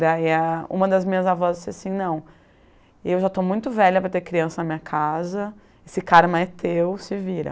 Daí ah, uma das minhas avós disse assim, não, eu já estou muito velha para ter criança na minha casa, esse carma é teu, se vira.